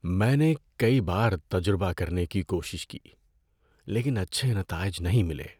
میں نے کئی بار تجربہ کرنے کی کوشش کی لیکن اچھے نتائج نہیں ملے۔